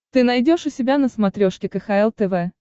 ты найдешь у себя на смотрешке кхл тв